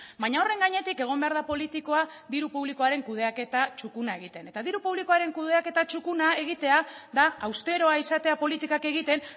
baina horren gainetik egon behar da politikoa diru publikoaren kudeaketa txukuna egiten eta diru publikoaren kudeaketa txukuna egitea da austeroa izatea politikak egiten